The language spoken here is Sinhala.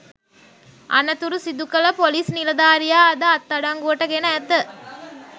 අනතුර සිදුකළ පොලිස් නිලධාරියා අද අත්අඩංගුවට ගෙන ඇත